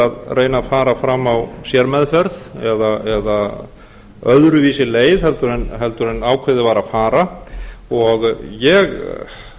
að reyna að fara fram á sérmeðferð eða öðruvísi leið heldur en ákveðið var að fara ég